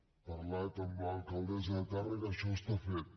he parlat amb l’alcaldessa de tàrrega això està fet